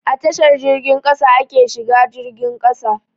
A tashar jirgin ƙasa ake shiga jirgin ƙasa.